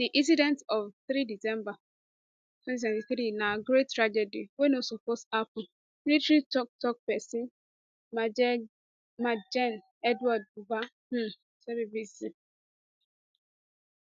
di incident of 3 december 2023 na great tragedy wey no suppose happun military toktok pesin majgen edward buba um tell bbc